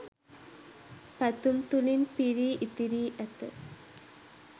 පැතුම් තුළින් පිරී ඉතිරී ඇත